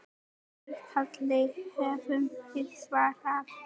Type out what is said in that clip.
Því kalli höfum við svarað.